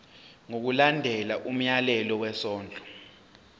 ngokulandela umyalelo wesondlo